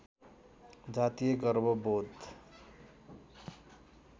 जातीय गर्व बोध